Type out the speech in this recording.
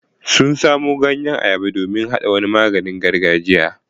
Sun samo ganyen ayaba domin su haɗa wani maganin gargajiya.